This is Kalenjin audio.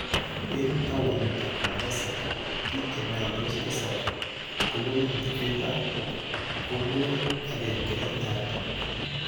En towunitab Mombasa , biik chemyandos tisap kobunuu Mvita kobunuu agenge Nyali.